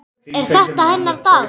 Er þetta hennar dagur?